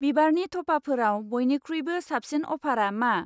बिबारनि थफाफोराव बयनिख्रुइबो साबसिन अफारा मा?